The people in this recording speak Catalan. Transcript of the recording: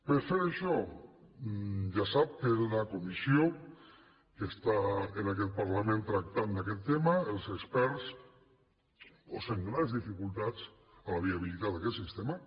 per fer això ja sap que en la comissió que està en aquest parlament tractant d’aquest tema els experts posen grans dificultats a la viabilitat d’aquest sistema